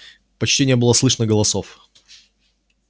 почти небыло слышно голосов